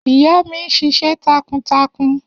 Iya mi n ṣiṣẹ takuntakun.